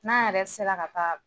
N'a yɛrɛ sera ka taa